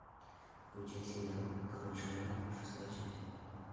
включай сериал король шаманов шестая часть